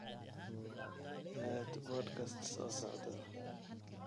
aad podcast soo socda